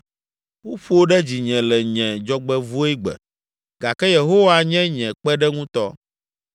Woƒo ɖe dzinye le nye dzɔgbevɔ̃egbe gake Yehowa nye nye kpeɖeŋutɔ.